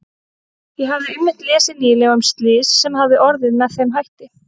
Ég hafði einmitt lesið nýlega um slys sem hafði orðið með þeim hætti.